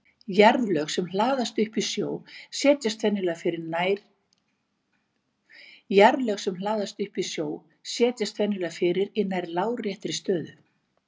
Jarðlög sem hlaðast upp í sjó setjast venjulega fyrir í nær láréttri stöðu.